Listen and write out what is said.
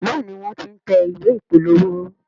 Béèni wón t'in tẹ̀ ìwé ìpolówó.